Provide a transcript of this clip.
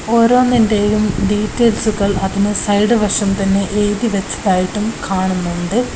ഓരോന്നിന്റെയും ഡീറ്റെയിൽസുകൾ അതിന്റെ സൈഡ് വശം തന്നെ എഴുതിവെച്ചതായിട്ടും കാണുന്നുണ്ട്.